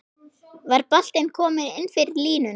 Var boltinn kominn innfyrir línuna?